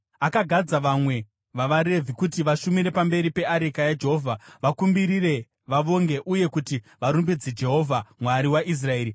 Akagadza vamwe vavaRevhi kuti vashumire pamberi peareka yaJehovha, vakumbirire, vavonge uye kuti varumbidze Jehovha, Mwari waIsraeri: